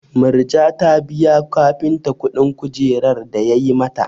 Murja ta biya kafinta kuɗin kujerar da yayi mata.